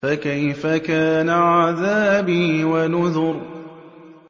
فَكَيْفَ كَانَ عَذَابِي وَنُذُرِ